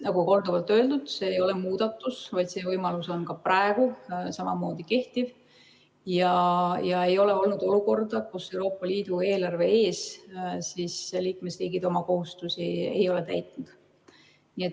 Nagu korduvalt öeldud, see ei ole muudatus, vaid see võimalus on ka praegu samamoodi kehtiv, ja ei ole olnud olukorda, kus liikmesriigid Euroopa Liidu eelarve ees oma kohustusi ei ole täitnud.